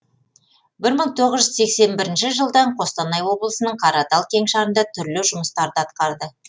бір мың тоғыз жүз сексен бірінші жылдан қостанай облысының қаратал кеңшарында түрлі жұмыстарды атқарды